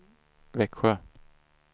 Växjö